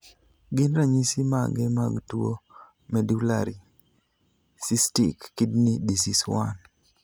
Gin ranyisi mage mag tuo Medullary cystic kidney disease 1?